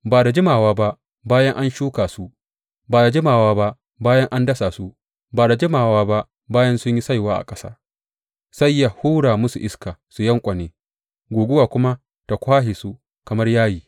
Ba da jimawa ba bayan an shuka su, ba da jimawa ba bayan an dasa su, ba da jimawa ba bayan sun yi saiwa a ƙasa, sai yă hura musu iska su yanƙwane, guguwa kuma ta kwashe su kamar yayi.